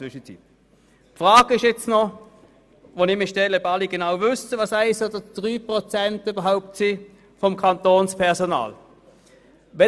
Ich frage mich, ob alle genau wissen, wieviel 1 oder 3 Prozent des Kantonspersonals sind.